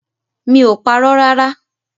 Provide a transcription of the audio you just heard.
Mi ò parọ́ rárá!